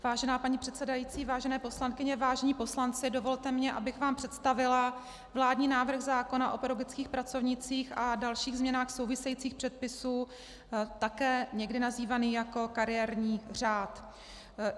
Vážená paní předsedající, vážené poslankyně, vážení poslanci, dovolte mi, abych vám představila vládní návrh zákona o pedagogických pracovnících a dalších změnách souvisejících předpisů, také někdy nazývaný jako kariérní řád.